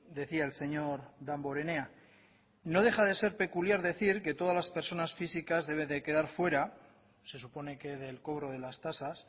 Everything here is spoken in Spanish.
decía el señor damborenea no deja de ser peculiar decir que todas las personas físicas deben de quedar fuera se supone que del cobro de las tasas